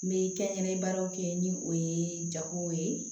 N bɛ kɛnyɛrɛye baaraw kɛ ni o ye jago ye